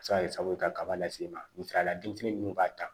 A bɛ se ka kɛ sababu ye kaba lase i ma misaliyala denmisɛnnin minnu b'a ta